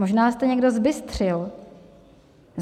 Možná jste někdo zbystřil.